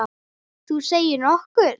Þú segir nokkuð.